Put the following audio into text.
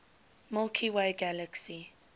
milky way galaxy